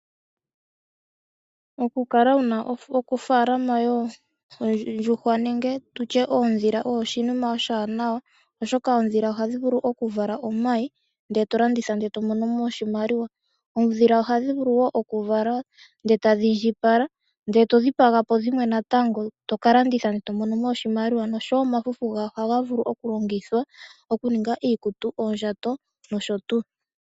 Okukala wu na ofaalama yoondjuhwa nenge tu tye oondhila oyo oshinima oshiwanawa, oshoka oondhila ohadhi vulu okuvala omayi, ndele to landitha, ndele to mono mo oshimaliwa. Oondhila ohadhi vulu wo okuvala ndele tadhi indjipala, ndele to dhipaga po dhimwe natango, to ka landitha, to mono mo oshimaliwa, nosho so omafufu gayo ohaga vulu okulongithwa okuninga iikutu, oondjato nosho tuu.